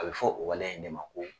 A bi fɔ o waleya in de ma ko